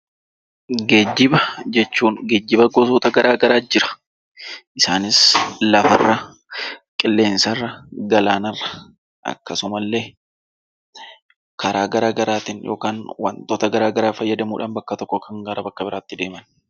Geejjiba jechuun geejjiba gosoota garaa garaa jira. Isaanis lafarra, qilleensarra, galaana irra, akkasuma illee karaa garaa garaatiin yookaan wantoota garaa garaa fayyadamuudhaan bakka tokkoo kan gara bakka biraatti deeman.